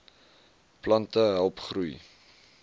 plante help groei